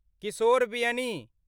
किशोर बियनि